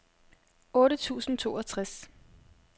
otte tusind og toogtres